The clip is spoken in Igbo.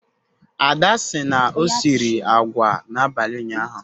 Ada sị na o siri agwa n'abalị ụnyaahụ